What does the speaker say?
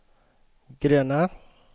gröna